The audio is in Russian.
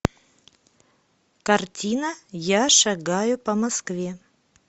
картина я шагаю по москве